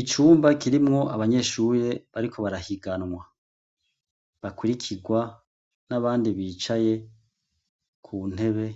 Icumba kirimwo abanyeshuye bariko barahiganwa bakirikirwa n'abandi bicaye ku ntebe